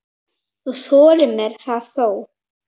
Þú þoldir mér það þó.